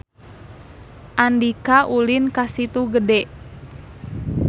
Andika ulin ka Situ Gede